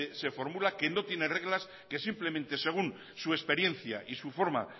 se formula que no tiene reglas que simplemente según su experiencia y su forma